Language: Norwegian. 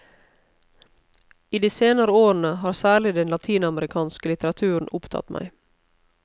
I de senere årene har særlig den latinamerikanske litteraturen opptatt meg.